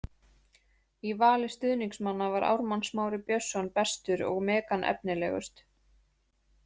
Í vali stuðningsmanna var Ármann Smári Björnsson bestur og Megan efnilegust.